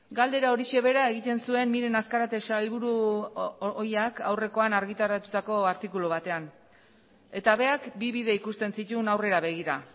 galdera horixe bera egiten zuen miren azkarate sailburu ohiak aurrekoan argitaratutako artikulu batean eta berak bi bide ikusten zituen aurrera begira